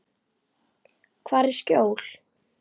Hvar er skjól?